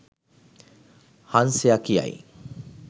හංසය කියයි.